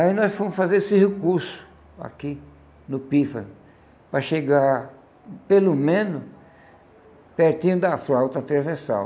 Aí nós fomos fazer esse recurso aqui, no pífano, para chegar, pelo menos, pertinho da flauta transversal.